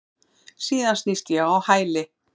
Síðan snýst ég á hæli.